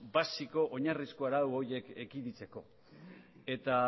basiko oinarrizko arau horiek ekiditzeko eta